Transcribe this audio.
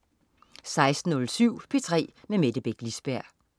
16.07 P3 med Mette Beck Lisberg